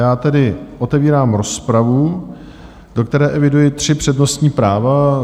Já tedy otevírám rozpravu, do které eviduji tři přednostní práva.